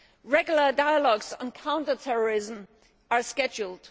Regular dialogues on counter terrorism are scheduled.